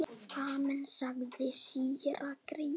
Amen, sagði síra Gísli.